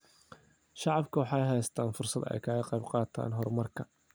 Shacabku waxay helaan fursad ay kaga qayb qaataan horumarka.